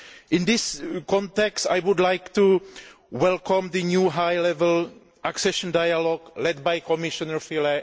In this context, I would like to welcome the new high level accession dialogue led by Commissioner Füle.